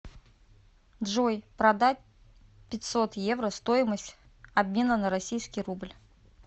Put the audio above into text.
джой продать пятьсот евро стоимость обмена на российский рубль